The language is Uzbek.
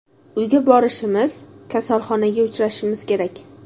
Uyga borishimiz, kasalxonaga uchrashimiz kerak.